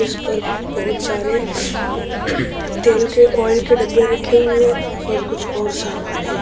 इस पर भी बहौत सारे तेल के ऑयल के डब्‍बे रखे हुए हैं और कुछ और सामान है।